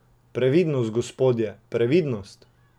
Previdnost, gospodje, previdnost!